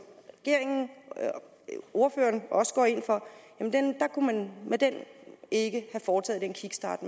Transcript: regeringen og ordføreren også går ind for kunne man ikke have foretaget den kickstart